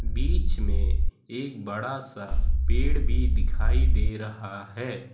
बीच में एक बड़ा सा पेड़ भी दिखाई दे रहा है।